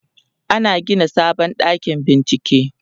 ana Gina sabon ɗakin bincike